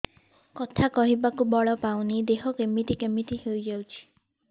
କଥା କହିବାକୁ ବଳ ପାଉନି ଦେହ କେମିତି କେମିତି ହେଇଯାଉଛି